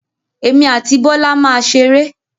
Emi àti Bọ́lá máa ṣeré.